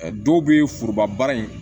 Dɔw bɛ foroba baara in